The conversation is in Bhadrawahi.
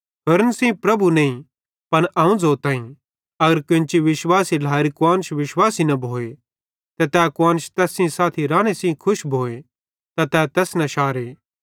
होरन सेइं प्रभु नईं पन अवं ज़ोताईं अगर केन्ची विश्वासी ढ्लाएरी कुआन्श विश्वासी न भोए ते तै कुआन्श तैस साथी राने सेइं खुश भोए त तै तैस न शारे